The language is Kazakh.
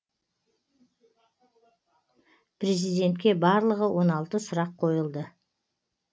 президентке барлығы он алты сұрақ қойылды